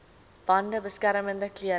bande beskermende klere